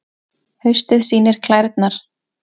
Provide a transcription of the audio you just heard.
Haustið sýnir klærnar